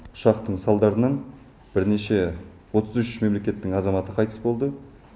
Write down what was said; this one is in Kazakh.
ұшақтың салдарынан бірнеше отыз үш мемлекеттің азаматы қайтыс болды